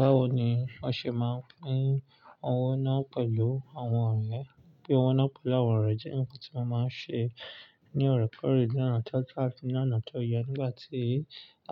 Báwo ni wọ́n ṣe máa pín owó náà pẹ̀lú àwọn ọ̀rẹ́? Pín owó náà pẹ̀lú àwọn ọ̀rẹ́ jẹ́ nǹkan tí wọ́n máa ń ṣe ní orekore lona tooto ati loná tó yẹ. Nígbà tí